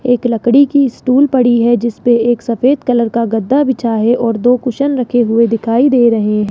एक लकड़ी की स्टूल पड़ी है जिसपे एक सफेद कलर का गद्दा बिछा है और दो कुशन रखे हुए दिखाई दे रहे है।